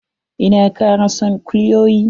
Ina kara son kulyoyi.